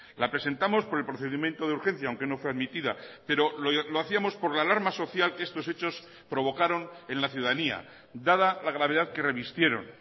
la presentamos por el procedimiento de urgencia aunque no fue admitida pero lo hacíamos por la alarma social que estos hechos provocaron en la ciudadanía dada la gravedad que revistieron